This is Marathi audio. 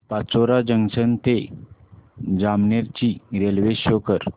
पाचोरा जंक्शन ते जामनेर ची रेल्वे शो कर